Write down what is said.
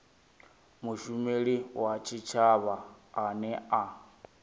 mushumeli wa tshitshavha ane a